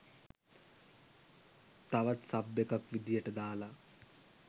තවත් සබ් එකක් විදියට දාල